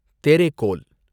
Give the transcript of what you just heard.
Terekhol